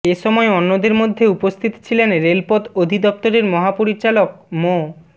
এ সময় অন্যদের মধ্যে উপস্থিত ছিলেন রেলপথ অধিদপ্তরের মহাপরিচালক মো